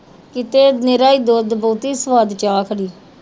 ਕਿਤੇ ਨਿਰਾ ਈ ਦੁੱਧ ਬਹੁਤੀ ਸਵਾਦ ਚਾਹ ਖੜ੍ਹੀ।